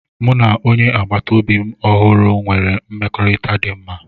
M na onye agbata obi ọhụrụ na-enwe mmekọrịta dị mma